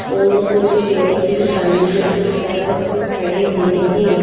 और कुछ व्यक्ति सामने की तरफ खड़े हुए हैं।